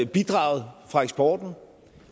bidraget fra eksporten